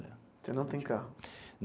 Você não tem carro?